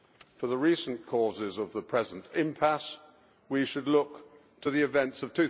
For the recent causes of the present impasse, we should look to the events of